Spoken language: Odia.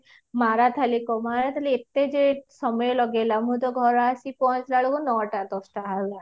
ମାରଥାଲି ଏତେ ଯେ ସମୟ ଲଗେଇଲ ମୁଁ ତ ଘରେ ଆସି ପହଞ୍ଚିଲା ବେଳକୁ ନଅଟ ଦଶଟା ହେଲାଣି